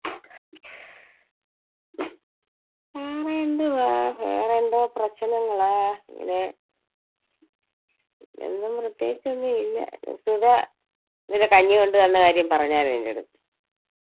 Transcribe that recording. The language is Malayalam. ഹും എന്തുവാ വേറെ എന്തോ പ്രശ്നങ്ങളാ. അങ്ങനെ ഒന്നും പ്രേത്യേകിച്ച് ഒന്നും ഇല്ല. സുജ ഇന്നലെ കഞ്ഞി കൊണ്ടുവരുന്ന കാര്യം പറഞ്ഞാർന്നോ നിന്റടുത്ത്.